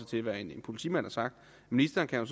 til hvad en politimand har sagt ministeren kan